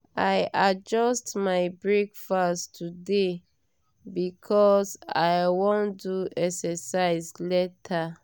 i adjust my breakfast today because i wan do exercise later.